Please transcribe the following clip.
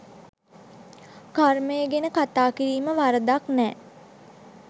කර්මය ගැන කතා කිරීම වරදක් නැහැ.